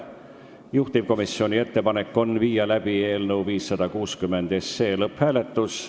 Juhtivkomisjoni ettepanek on panna eelnõu 560 lõpphääletusele.